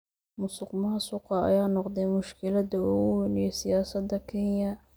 Musuqmaasuqa ayaa noqday mushkiladda ugu weyn ee siyaasadda Kenya.